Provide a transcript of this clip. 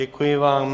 Děkuji vám.